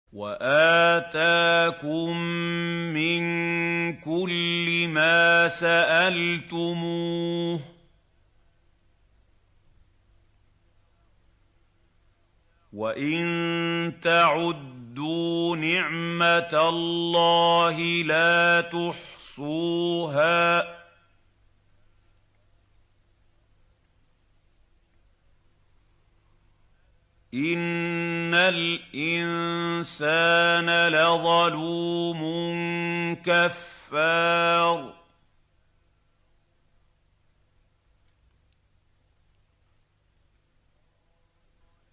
وَآتَاكُم مِّن كُلِّ مَا سَأَلْتُمُوهُ ۚ وَإِن تَعُدُّوا نِعْمَتَ اللَّهِ لَا تُحْصُوهَا ۗ إِنَّ الْإِنسَانَ لَظَلُومٌ كَفَّارٌ